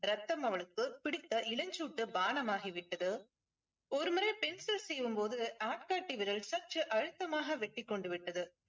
ரத்தம் அவளுக்கு பிடித்த இளஞ்சூட்டு பானம் ஆகிவிட்டது ஒருமுறை pencil சீவும் போது ஆள்காட்டி விரல் சற்று அழுத்தமாக வெட்டிக் கொண்டு விட்டது